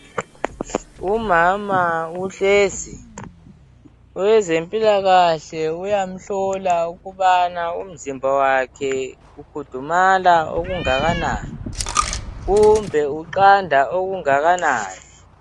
Umama uhlezi, owezempilakahle uyamhlola ukubana umzimba wakhe ukhudumala okungakanani kumbe uqanda okungakanani.